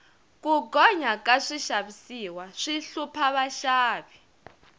ku gonya ka swixavisiwa swi hlupha vaxavi